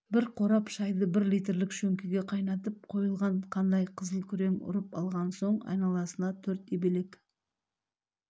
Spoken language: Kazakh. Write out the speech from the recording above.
бір қорап шайды бір литрлік шөңкеге қайнатып қойылған қандай қызыл-күрең ұрып алған соң айналасында төрт ебелек